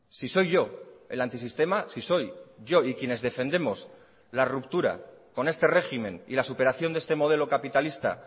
si soy yo el antisistema si soy yo y quienes defendemos la ruptura con este régimen y la superación de este modelo capitalista